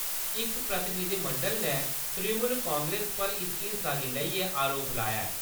इस प्रतिनिधिमंडल ने तृणमूल कांग्रेस पर इस हिंसा गी लेइयै आरोप लाया ऐ।